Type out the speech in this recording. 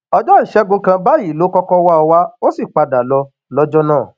ọjọ ìṣègùn kan báyìí ló kọkọ wá ọ wá ó sì padà lọ lọjọ náà